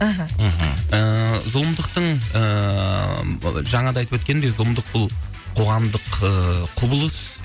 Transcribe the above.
мхм ыыы зұлымдықтың ыыы жаңада айтып өткендей зұлымдық бұл қоғамдық ы құбылыс